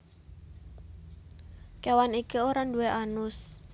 Kewan iki ora duwé anus